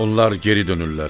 Onlar geri dönürlər.